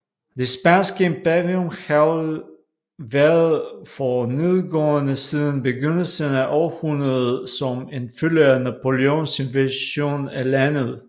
Det spanske imperium havde været for nedadgående siden begyndelsen af århundredet som en følge af Napoleons invasion af landet